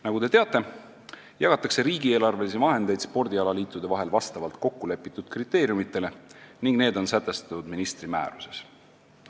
Nagu te teate, jagatakse riigieelarvelisi vahendeid spordialaliitude vahel vastavalt kokkulepitud kriteeriumitele, mis on sätestatud ministri määruses.